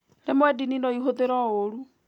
Rimwe ndini no ĩhũthĩrwo ũru